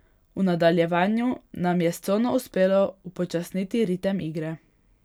V nadaljevanju nam je s cono uspelo upočasniti ritem igre.